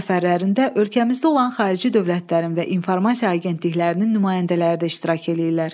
səfərlərində ölkəmizdə olan xarici dövlətlərin və informasiya agentliklərinin nümayəndələri də iştirak eləyirlər.